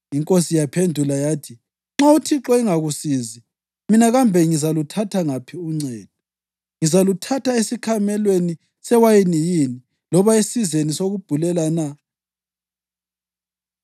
Inkosi yaphendula yathi, “Nxa uThixo engakusizi, mina kambe ngizaluthatha ngaphi uncedo? Ngizaluthatha esikhamelweni sewayini yini loba esizeni sokubhulela na?”